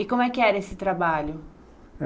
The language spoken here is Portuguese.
E como é que era esse trabalho?